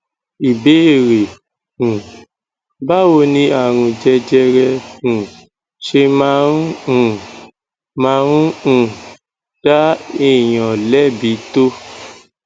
ìbéèrè um báwo ni àrùn jẹjẹrẹ um ṣe máa ń um máa ń um dá èèyàn lẹbi tó